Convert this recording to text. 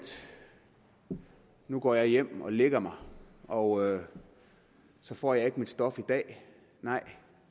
nu går jeg hjem og lægger mig og så får jeg ikke mit stof i dag nej